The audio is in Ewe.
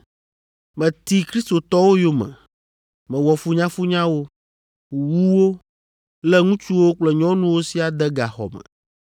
Meti Kristotɔwo yome. Mewɔ funyafunya wo, wu wo, lé ŋutsuwo kple nyɔnuwo siaa de gaxɔ me.